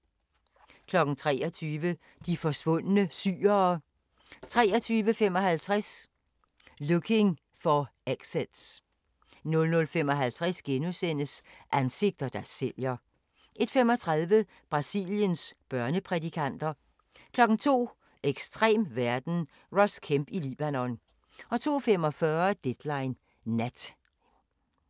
23:00: De forsvundne syrere 23:55: Looking for Exits 00:55: Ansigter, der sælger * 01:35: Brasiliens børneprædikanter 02:00: Ekstrem verden – Ross Kemp i Libanon 02:45: Deadline Nat